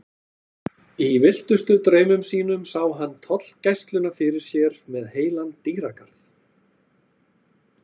Í villtustu draumum sínum sá hann tollgæsluna fyrir sér með heilan dýragarð.